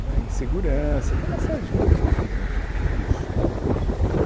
né, Insegurança, tem uma série de coisas que vêm junto com tudo isso, né